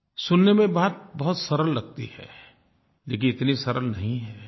सुनने में बात बहुत सरल लगती है लेकिन इतनी सरल नहीं है